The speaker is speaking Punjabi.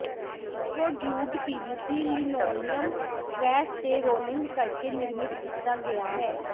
ਇਕੋਡਿਊਡ ਪੀਵੀਸੀ ਲਿਨੋਲੀਅਮ ਪ੍ਰੈਸ ਤੇ ਰੋਲਿੰਗ ਕਰਕੇ ਨਿਰਮਿਤ ਕੀਤਾ ਗਿਆ ਹੈ